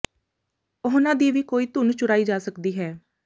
ਉਹਨਾਂ ਦੀ ਵੀ ਕੋਈ ਧੁੰਨ ਚੁਰਾਈ ਜਾ ਸਕਦੀ ਹੈ